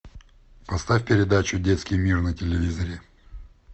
поставь передачу детский мир на телевизоре